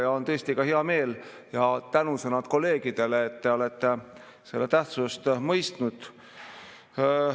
Ja on tõesti hea meel ja tänusõnad kolleegidele, et te olete selle tähtsust mõistnud.